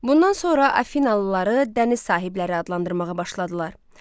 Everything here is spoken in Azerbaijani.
Bundan sonra Afinalıları dəniz sahibləri adlandırmağa başladılar.